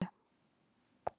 Bankinn er langt í burtu.